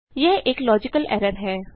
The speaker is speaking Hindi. यह एक लॉजिकल एरर है